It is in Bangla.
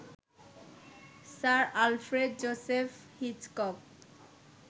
sir Alfred Joseph Hitchcock